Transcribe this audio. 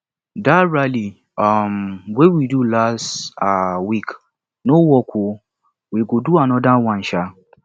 dat rally um we do last um week no work oo we go do another one um